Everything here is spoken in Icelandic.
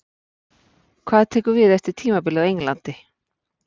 Hvað tekur við eftir tímabilið á Englandi?